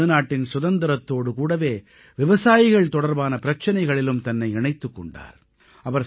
இந்தியத் திருநாட்டின் சுதந்திரத்தோடு கூடவே விவசாயிகள் தொடர்பான பிரச்சனைகளிலும் தன்னை இணைத்துக் கொண்டார்